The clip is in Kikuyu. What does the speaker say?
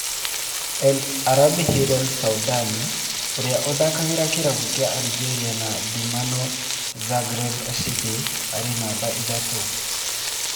El Arabi Hillel Soudani ũria ũthakagira kĩravũkĩa Algeria na Dinamo Zagreb City arĩ numba ithatu